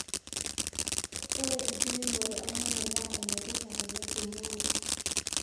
ore enkiremore olnyanya naa enetipat oleng temurua